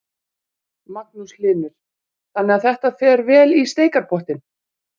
Magnús Hlynur: Þannig að þetta fer vel í steikarpottinn?